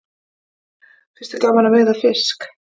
Finnst þér gaman að veiða fisk?